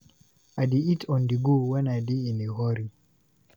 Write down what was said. I dey eat on-the-go when I dey in a hurry.